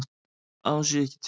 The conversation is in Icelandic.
Að hún sé ekki til.